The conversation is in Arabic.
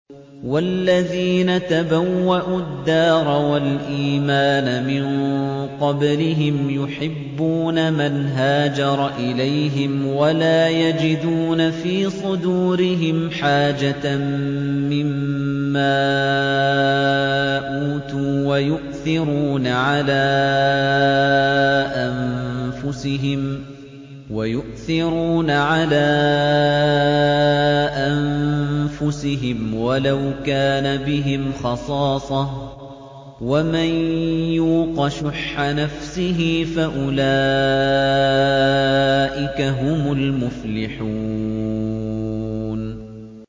وَالَّذِينَ تَبَوَّءُوا الدَّارَ وَالْإِيمَانَ مِن قَبْلِهِمْ يُحِبُّونَ مَنْ هَاجَرَ إِلَيْهِمْ وَلَا يَجِدُونَ فِي صُدُورِهِمْ حَاجَةً مِّمَّا أُوتُوا وَيُؤْثِرُونَ عَلَىٰ أَنفُسِهِمْ وَلَوْ كَانَ بِهِمْ خَصَاصَةٌ ۚ وَمَن يُوقَ شُحَّ نَفْسِهِ فَأُولَٰئِكَ هُمُ الْمُفْلِحُونَ